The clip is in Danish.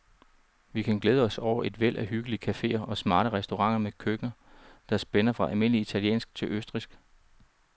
Vi kan glæde os over et væld af hyggelige caféer og smarte restauranter med køkkener, der spænder fra almindelig italiensk til det østrigske.